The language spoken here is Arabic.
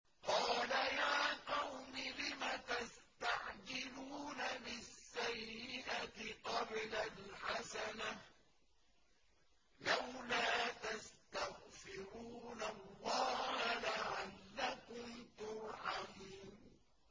قَالَ يَا قَوْمِ لِمَ تَسْتَعْجِلُونَ بِالسَّيِّئَةِ قَبْلَ الْحَسَنَةِ ۖ لَوْلَا تَسْتَغْفِرُونَ اللَّهَ لَعَلَّكُمْ تُرْحَمُونَ